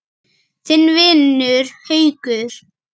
Þinn vinur, Haukur.